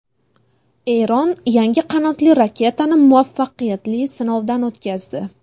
Eron yangi qanotli raketani muvaffaqiyatli sinovdan o‘tkazdi.